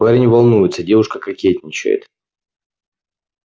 парень волнуется девушка кокетничает